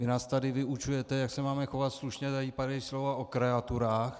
Vy nás tady vyučujete, jak se máme chovat slušně - tady padají slova o kreaturách.